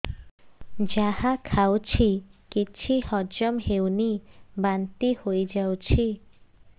ଯାହା ଖାଉଛି କିଛି ହଜମ ହେଉନି ବାନ୍ତି ହୋଇଯାଉଛି